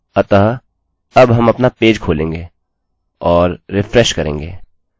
अतःअब हम अपना पेज खोलेंगे और रिफ्रेशrefresh करेंगे